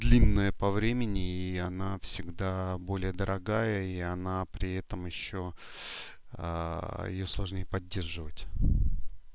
длинная по времени и она всегда более дорогая и она при этом ещё её сложнее поддерживать